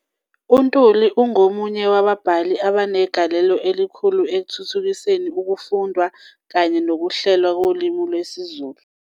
UNtuli ungomunye wababhali abanegalelo elikhulu ekuthuthukiseni ukufundwa kanye nokuhlelwa kolimi lwesiZulu.